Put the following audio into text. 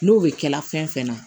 N'o bɛ kɛla fɛn fɛn na